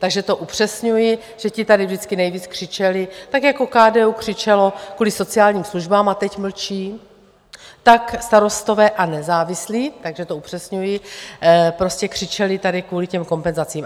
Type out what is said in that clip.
Takže to upřesňuji, že ti tady vždycky nejvíc křičeli, tak jako KDU křičelo kvůli sociálním službám a teď mlčí, tak Starostové a nezávislí, takže to upřesňuji, prostě křičeli tady kvůli těm kompenzacím.